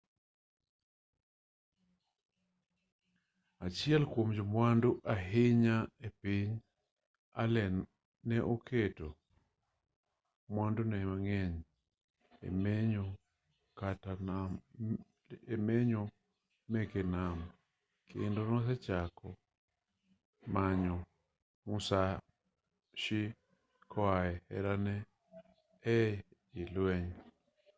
achiel kuom jomwandu ahinya e piny allen ne oketo mwandune mang'eny e menyo meke nam kendo nochako manyo musashi koae herane e i lueny